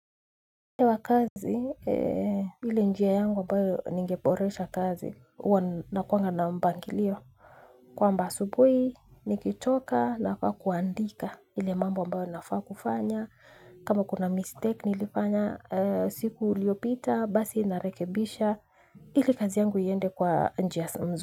Kwa kazi, ile njia yangu ambayo ningeboresha kazi, uwa nakuanga na mpangilio. Kwamba asubuhi, nikitoka nafaa kuandika. Ile mambo ambao nafaa kufanya. Kama kuna mistake, nilifanya siku iliopita, basi narekebisha. Ile kazi yangu iende kwa njia sa mzu.